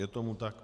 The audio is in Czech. Je tomu tak.